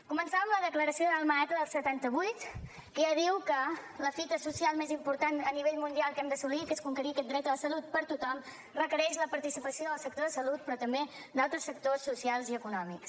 començava amb la declaració d’alma ata del setanta vuit que ja diu que la fita social més important a nivell mundial que hem d’assolir que és conquerir aquest dret a la salut per a tothom requereix la participació del sector de salut però també d’altres sectors socials i econòmics